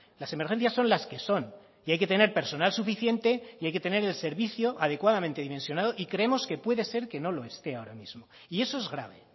las emergencias son las que son y hay que tener personal suficiente y hay que tener el servicio adecuadamente dimensionado y creemos que puede ser que no lo esté ahora mismo y eso es grave